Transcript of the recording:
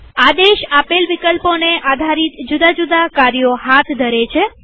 આદેશ આપેલ વિકલ્પોને આધારિત જુદા જુદા કાર્યો હાથ ધરે છે